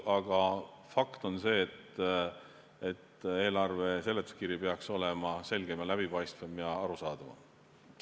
Aga fakt on see, et eelarve seletuskiri peaks olema selgem, läbipaistvam ja arusaadavam.